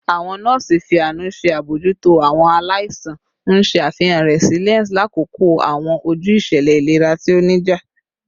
Awọn nọọsi fi aanu ṣe abojuto awọn alaisan, n ṣe afihan resilience lakoko awọn oju iṣẹlẹ ilera ti o nija